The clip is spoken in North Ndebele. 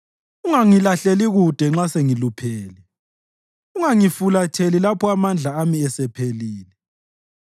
Ungangilahleli kude nxa sengiluphele; ungangifulatheli lapho amandla ami esephelile.